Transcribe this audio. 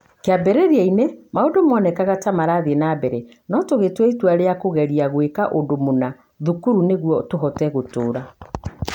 Kĩambĩrĩria - inĩ, maũndũ moonekaga ta matarathiĩ na mbere, no tũgĩtua itua rĩa kũgeria gwĩka ũndũ mũna [thukuru] nĩguo tũhote gũtũũra".